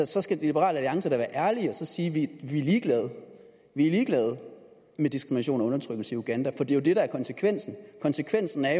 så skal liberal alliance da være ærlige og sige vi er ligeglade vi er ligeglade med diskrimination og undertrykkelse i uganda for det er jo det der er konsekvensen konsekvensen er